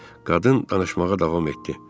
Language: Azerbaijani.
Qadın danışmağa davam etdi.